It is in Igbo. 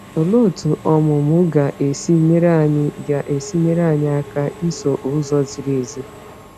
Olee otú ọmụmụ ga-esi nyere anyị ga-esi nyere anyị aka iso ụzọ ziri ezi?